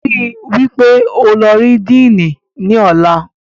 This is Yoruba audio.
Ríi dájú wípé o lọ rí Díìnì ní ọ̀la